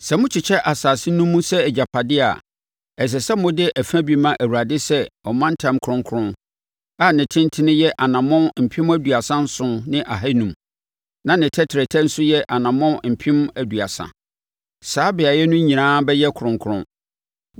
“ ‘Sɛ mokyekyɛ asase no mu sɛ agyapadeɛ a, ɛsɛ sɛ mode ɛfa bi ma Awurade sɛ ɔmantam kronkron a ne tentene yɛ anammɔn mpem aduasa nson ne ahanum (37,500), na ne tɛtrɛtɛ nso yɛ anammɔn mpem aduasa (30,000); saa beaeɛ no nyinaa bɛyɛ kronkron.